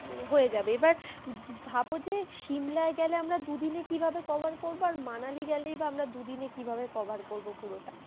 হয়ে যাবে এবার ভাব যে সিমলায় গেলে আমরা দু দিন এ কি ভাবে cover করবো আর মানালি গেলেও দু দিন এ কি ভাবে cover করবো পুরোটা,